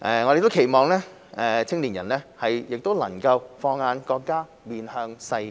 我們亦期望青年人能放眼國家、面向世界。